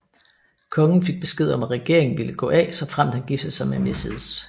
Kongen fik besked om at regeringen ville gå af såfremt han giftede sig med Mrs